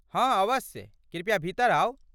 हाँ अवश्य ,कृपया भीतर आउ।